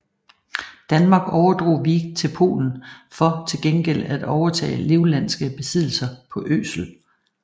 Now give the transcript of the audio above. Danmark overdrog Wiek til Polen for til gengæld at overtage livlandske besiddelser på Øsel